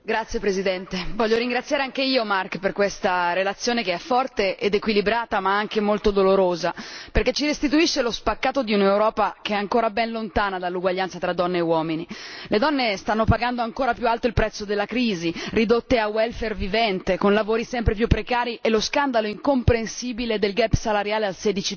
Signor Presidente, onorevoli colleghi, voglio ringraziare anch'io Marc Tarabella per questa relazione che è forte ed equilibrata ma anche molto dolorosa, perché ci restituisce lo spaccato di un'Europa che è ancora ben lontana dall'uguaglianza tra donne e uomini. Le donne stanno pagando ancora più alto il prezzo della crisi, ridotte a vivente, con lavori sempre più precari e lo scandalo incomprensibile del salariale al